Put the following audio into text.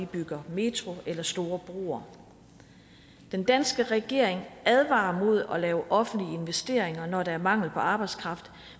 bygger metro eller store broer den danske regering advarer imod at lave offentlige investeringer når der er mangel på arbejdskraft